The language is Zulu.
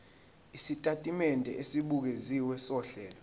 isitatimende esibukeziwe sohlelo